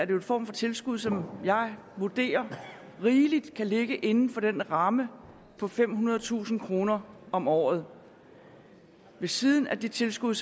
jo en form for tilskud som jeg vurderer rigeligt kan ligge inden for den ramme på femhundredetusind kroner om året ved siden af det tilskud